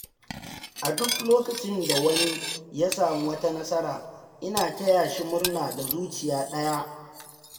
A duk lokacin da wani ya samu wata nasara, ina taya shi murna da zuciya ɗaya.